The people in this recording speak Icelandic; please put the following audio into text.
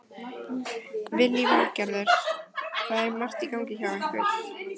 Lillý Valgerður: Það er margt í gangi hjá ykkur?